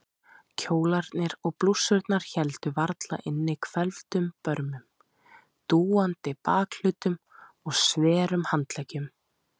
Kjólarnir og blússurnar héldu varla inni hvelfdum börmum, dúandi bakhlutum og sverum handleggjum.